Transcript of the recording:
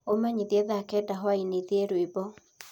Umenyĩthĩe thaa kenda hwaĩnĩ thĩe rwĩmbo